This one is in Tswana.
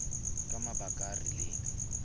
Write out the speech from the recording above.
ka mabaka a a rileng